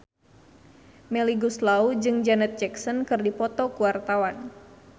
Melly Goeslaw jeung Janet Jackson keur dipoto ku wartawan